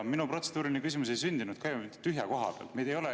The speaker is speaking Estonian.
Minu protseduuriline küsimus ei sündinud ka mitte tühja koha pealt.